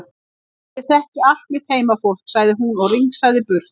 Já ég þekki allt mitt heimafólk, sagði hún og rigsaði burt.